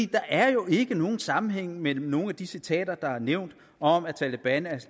der er jo ikke nogen sammenhæng mellem nogen af de citater der er nævnt om at taleban er